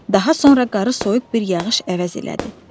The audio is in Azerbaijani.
Daha sonra qarı soyuq bir yağış əvəz elədi.